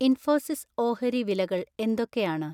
ഇൻഫോസിസ് ഓഹരി വിലകൾ എന്തൊക്കെയാണ്